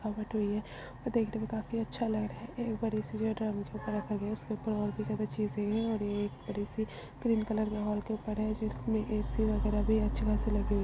है और देखने में काफी अच्छा लग रहा है और भी ज्यादा चीजें है और ये एक बड़ी सी ग्रीन कलर के हॉल जिसमे एसी वगैरा भी अच्छी खासी लगी हुई है ।